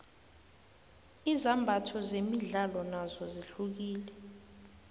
izimbatho zemidlalo nozo zihlukile